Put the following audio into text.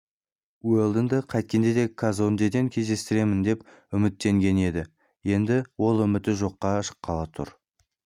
уэлдонды қайткенде де казондеден кездестіремін деп үміттенген еді енді ол үміті жоққа шыққалы тұр